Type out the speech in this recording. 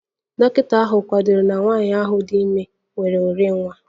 Dọkịta ahụ kwadoro nwanyị ahụ dị ime nwere orinwa